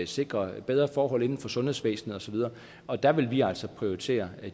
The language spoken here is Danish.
sikre bedre forhold inden for sundhedsvæsenet og så videre og der vil vi altså prioritere